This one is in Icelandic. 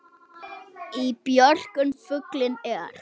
Í björgum fuglinn er.